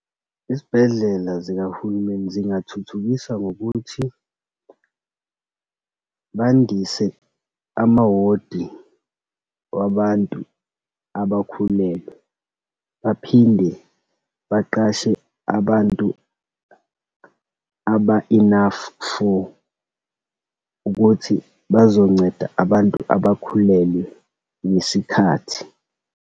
Izibhedlela zikahulumeni zingathuthukiswa ngokuthi bandise ama-ward-i wabantu abakhulelwe, baphinde baqashe abantu aba-enough for ukuthi bazonceda abantu abakhulelwe ngesikhathi.